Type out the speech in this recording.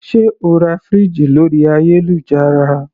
Sé o ra fridge lórí ayélujára?